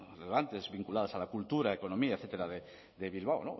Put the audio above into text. relevantes vinculadas a la cultura economía etcétera de bilbao